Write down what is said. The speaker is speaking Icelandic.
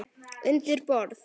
Undir borð.